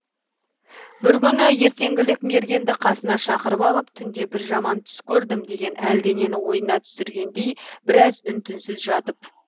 бір күні ертеңгілік мергенді қасына шақырып алып түнде бір жаман түс көрдім деген әлденені ойына түсіргендей біраз үн түнсіз жатып